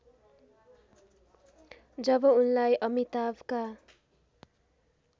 जब उनलाई अमिताभका